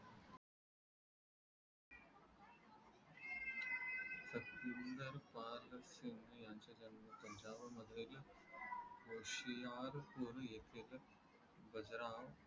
श्रींनाद